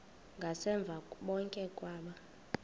ngasemva bonke aba